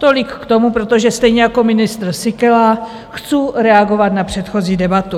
Tolik k tomu, protože stejně jako ministr Síkela chcu reagovat na předchozí debatu.